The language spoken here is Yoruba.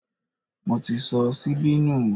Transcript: Mo ti sọ síbí nù